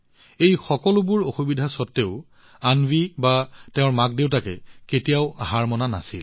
এই সকলোবোৰ অসুবিধা স্বত্ত্বেও অন্বী বা তাইৰ মাকদেউতাকে কেতিয়াও হাৰ মনা নাছিল